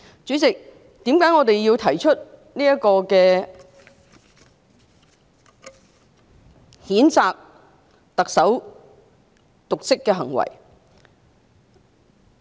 主席，我們為何要提出譴責特首的瀆職行為？